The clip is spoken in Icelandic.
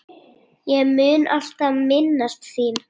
Ég mun alltaf minnast þín.